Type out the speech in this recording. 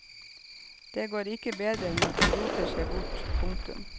Det går ikke bedre enn at de roter seg bort. punktum